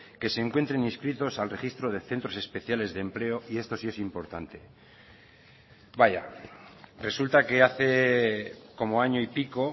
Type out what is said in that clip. que se encuentren inscritos al registro de centros especiales de empleo y esto sí es importante vaya resulta que hace como año y pico